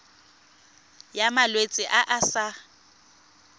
ya malwetse a a sa